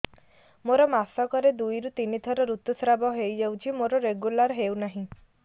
ମୋର ମାସ କ ରେ ଦୁଇ ରୁ ତିନି ଥର ଋତୁଶ୍ରାବ ହେଇଯାଉଛି ମୋର ରେଗୁଲାର ହେଉନାହିଁ